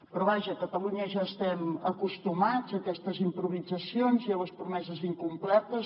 però vaja a catalunya ja estem acostumats a aquestes improvisacions i a les promeses incomplertes